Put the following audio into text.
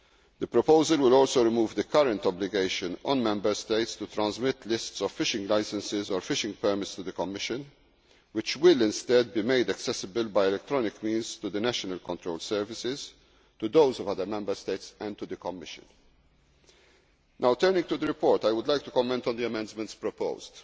effective. The proposal will also remove the current obligation on Member States to transmit lists of fishing licenses or fishing permits to the Commission, which will instead be made accessible by electronic means to the national control services, to those of other Member States, and to the Commission. Now turning to the report, I would like to comment on the amendments